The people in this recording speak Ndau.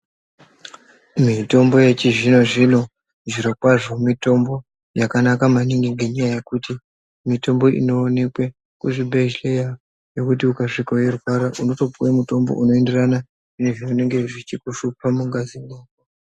Mitombo yechizvino zvino zviro kwazvo mitombo yakanaka maningi ngenyaya yekuti mitombo inoonekwe kuzvibhedhleye Nekuti ukasvika weirwara Unotopuwe mutombo unoenderana nezvinenge zvichikushupa mungazimwo.